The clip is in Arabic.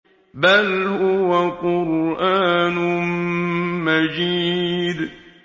بَلْ هُوَ قُرْآنٌ مَّجِيدٌ